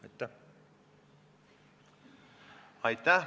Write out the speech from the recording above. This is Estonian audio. Aitäh!